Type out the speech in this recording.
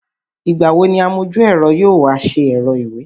Ìgbà wo ni amojú-ẹ̀rọ yóò wá ṣe ẹ̀rọ ìwé?